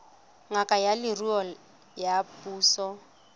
ngaka ya leruo ya puso